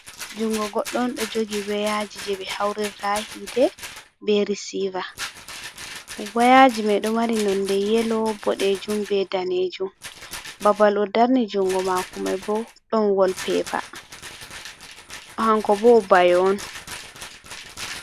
Junngo goɗɗo on, ɗo jogi wayaaji jey ɓe hawrirta yiite, be risiiva. Wayaaji may ɗo mari nonde yelo, boɗeejum, be daneejum. Babal o darni junngo maako may bo, ɗon wolpeepa, hanko bo o bayo on.